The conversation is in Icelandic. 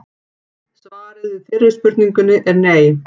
Svarið við fyrri spurningunni er nei!